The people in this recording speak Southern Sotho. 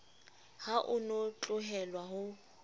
ha o no tlohelwa ho